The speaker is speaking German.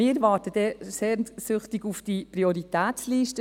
Wir warten sehnsüchtig auf die Prioritätsliste.